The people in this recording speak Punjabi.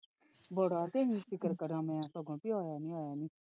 ਬੜਾ ਤੇ ਫਿਕਰ ਕਰਾ ਮੈਂ ਕੀ ਹਾਜੇ ਆਇਆ ਨਹੀਂ ਆਇਆ ਨਹੀਂ।